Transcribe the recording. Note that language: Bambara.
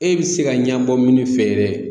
E bɛ se ka ɲɛbɔ min fɛ yɛrɛ